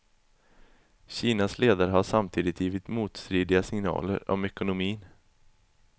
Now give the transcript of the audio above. Kinas ledare har samtidigt givit motstridiga signaler om ekonomin.